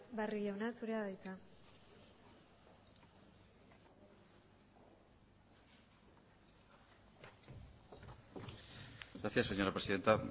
barrio jauna zurea da hitza gracias señora presidenta